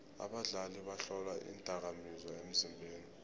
abadlali bahlolwa iindakamizwa emzimbeni